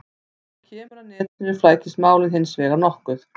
Þegar kemur að netinu flækist málið hins vegar nokkuð.